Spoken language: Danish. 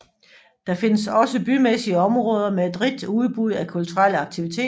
Der findes også bymæssige områder med et rigt udbud af kulturelle aktiviteter